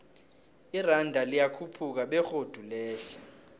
iranda liyakhuphuka begodu lehle